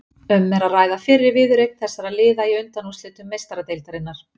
Um er að ræða fyrri viðureign þessara liða í undanúrslitum Meistaradeildarinnar.